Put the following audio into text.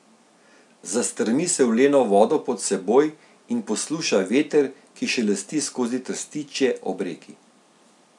Zastrmi se v leno vodo pod seboj in posluša veter, ki šelesti skozi trstičje ob reki.